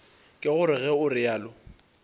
ke gore ge o realo